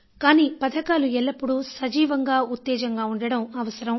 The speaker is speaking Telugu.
కానీ పథకాలు ఎల్లప్పుడూ సజీవంగా ఉత్తేజంగా ఉండడం అవసరం